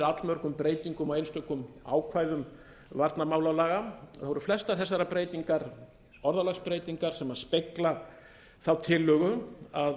allmörgum breytingu einstökum ákvæðum varnarmálalaga eru flestar þessar breytingar orðalagsbreytingar sem spegla þá tillögu að